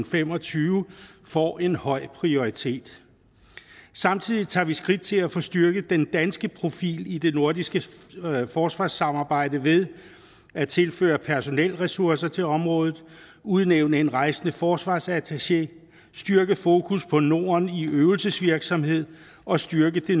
fem og tyve får en høj prioritet samtidig tager vi skridt til at få styrket den danske profil i det nordiske forsvarssamarbejde ved at tilføre personelressourcer til området udnævne en rejsende forsvarsattaché styrke fokus på norden i øvelsesvirksomhed og styrke det